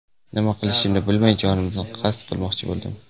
Nima qilishimni bilmay, jonimga qasd qilmoqchi bo‘ldim.